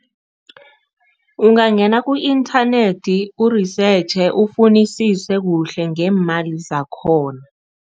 Ungangena ku-inthanethi urisetjhe, ufunisise kuhle ngeemali zakhona.